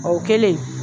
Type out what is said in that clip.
O kɛlen